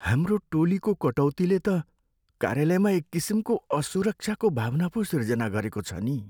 हाम्रो टोलीको कटौतीले त कार्यालयमा एककिसिमको असुरक्षाको भावना पो सिर्जना गरेको छ नि।